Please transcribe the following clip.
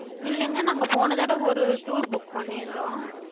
இல்லங்க நாங்க போனதடவ ஒரு tour book பண்ணிருந்தோ.